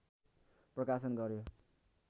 प्रकाशन गऱ्यो